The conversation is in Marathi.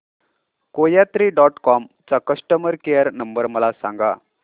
कोयात्री डॉट कॉम चा कस्टमर केअर नंबर मला सांगा